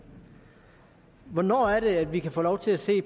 hvornår er det at vi kan få lov til at se